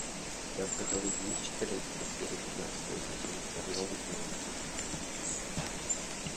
у тебя в каталоге есть четырнадцатая серия пятнадцатого сезона чернобыль зона отчуждения